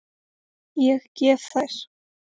Ég gef þær.